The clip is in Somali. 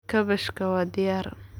Kaabashka waa diyaar.